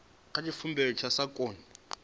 kha tshivhumbeo tshi sa koni